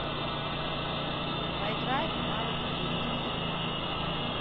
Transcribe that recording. поиграем в навык квестикс